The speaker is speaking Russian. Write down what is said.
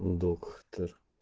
доктор